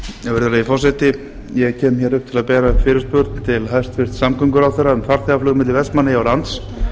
virðulegi forseti ég kem hér upp til að bera fyrirspurn til hæstvirts samgönguráðherra um farþegaflug milli vestmannaeyja og lands